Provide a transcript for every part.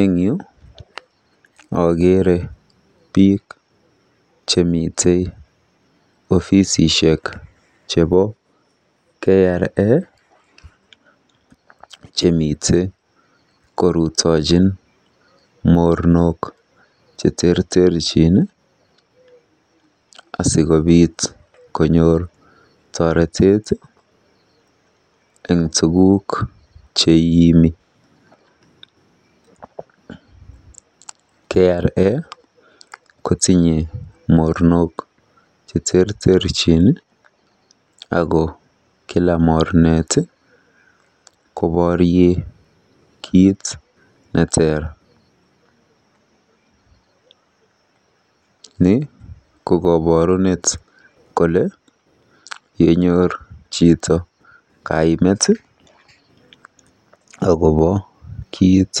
Eng yu akeere biik chemite ofisishek chebo KRA chemitei korutochin mornok cheterterchin asikobiit konyor toretet eng tuguk cheiimi. KRA kotinye mornok cheterterchin ako kila mornet kjoborie kiit neter. Ni ko koborunet kole yenyor chito kaimutioet akobo kiit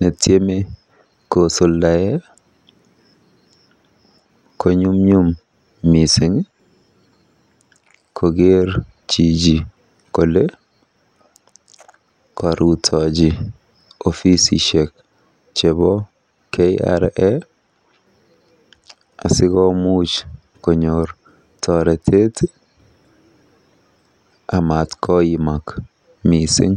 netiome kosuldae konyumnyum koker chichi kole karutochi ofisishek chebo KRA asikomuuch konyor toretet amatkoimak mising.